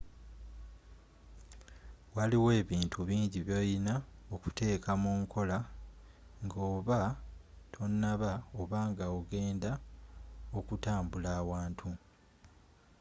waliiyo ebintu bingi byoliina okuteka munkola nga oba tonaba oba nga ogenda okutambula awantu